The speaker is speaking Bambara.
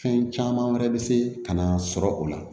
Fɛn caman wɛrɛ bɛ se ka na sɔrɔ o la